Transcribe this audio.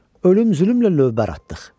Ölüm zülmlə lövbər atdıq.